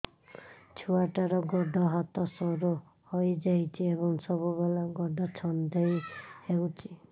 ଛୁଆଟାର ଗୋଡ଼ ହାତ ସରୁ ହୋଇଯାଇଛି ଏବଂ ସବୁବେଳେ ଗୋଡ଼ ଛଂଦେଇ ହେଉଛି